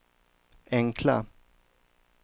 enkla